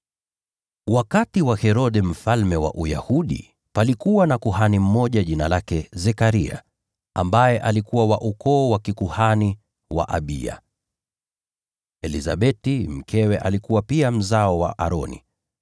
Wakati wa Herode mfalme wa Uyahudi, palikuwa na kuhani mmoja jina lake Zekaria, ambaye alikuwa wa ukoo wa kikuhani wa Abiya. Elizabeti mkewe alikuwa pia mzao wa Aroni.